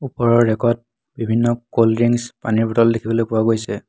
ওপৰৰ ৰেকত বিভিন্ন ক'ল্ড ড্ৰিংছ পানীৰ বটল দেখিবলৈ পোৱা গৈছে।